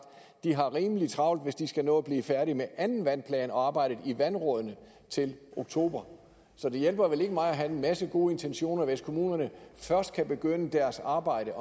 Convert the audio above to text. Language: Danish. de har rimelig travlt hvis de skal nå at blive færdige med anden vandplan og arbejdet i vandrådene til oktober så det hjælper vel ikke meget at have en masse gode intentioner hvis kommunerne først kan begynde deres arbejde